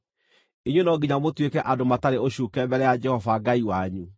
Inyuĩ no nginya mũtuĩke andũ matarĩ ũcuuke mbere ya Jehova Ngai wanyu.